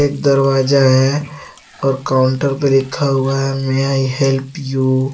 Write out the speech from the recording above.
दरवाजा है और काउंटर पर लिखा हुआ है में आई हेल्प यू ।